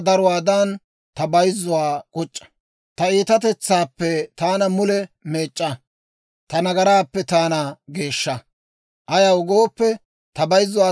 Ayaw gooppe, ta bayzzuwaa taani eray; ta nagaray ubbaa gede ta sintsaana.